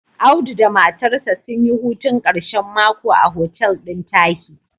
Audu da matarsa sun yi hutun ƙashen mako a hotel ɗin Tahi.